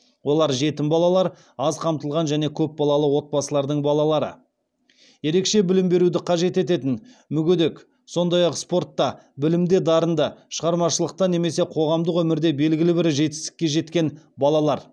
олар жетім балалар аз қамтылған және көп балалы отбасылардың балалары ерекше білім беруді қажет ететін мүгедек сондай ақ спортта білімде дарынды шығармашылықта немесе қоғамдық өмірде белгілі бір жетістікке жеткен балалар